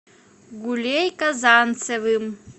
гулей казанцевым